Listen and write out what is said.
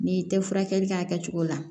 N'i tɛ furakɛli kɛ a kɛcogo la